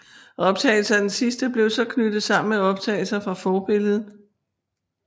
Optagelserne af den sidste blev så knyttet sammen med optagelser fra forbilledet